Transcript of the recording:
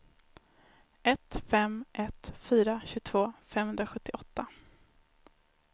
ett fem ett fyra tjugotvå femhundrasjuttioåtta